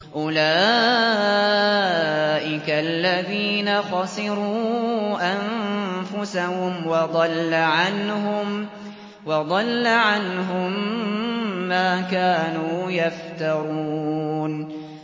أُولَٰئِكَ الَّذِينَ خَسِرُوا أَنفُسَهُمْ وَضَلَّ عَنْهُم مَّا كَانُوا يَفْتَرُونَ